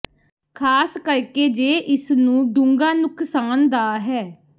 ਖ਼ਾਸ ਕਰਕੇ ਜੇ ਇਸ ਨੂੰ ਡੂੰਘਾ ਨੁਕਸਾਨ ਦਾ ਹੈ